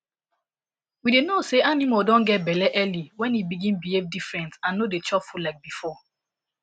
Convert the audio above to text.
we dey know say animal don get belle early when e begin behave different and no dey chop food like before